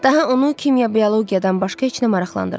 Daha onu kimya, biologiyadan başqa heç nə maraqlandırmırdı.